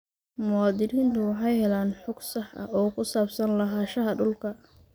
Muwaadiniintu waxay helaan xog sax ah oo ku saabsan lahaanshaha dhulka.